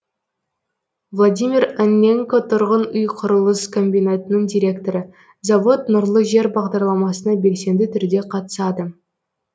владимир анненко тұрғын үй құрылыс комбинатының директоры завод нұрлы жер бағдарламасына белсенді түрде қатысады